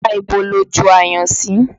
Apá ibo lo ju ayùn sí?